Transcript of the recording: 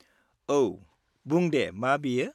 औ, बुं दे मा बेयो?